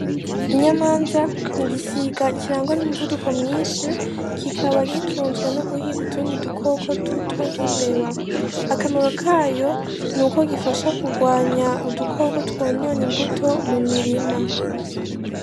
Inyamanza ni igisiga kirangwa n'umuvuduko mwinshi kikaba gitunzwe no guhiga utundi dukoko duto nk'imbeba, akamaro kayo nukoo gifasha kugwanya n'udukoko twononye imbuto mu mirima.